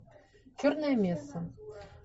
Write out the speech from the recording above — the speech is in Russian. черная месса